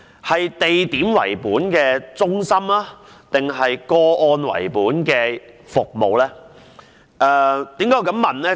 是"地點為本"的中心還是"個案為本"的服務呢？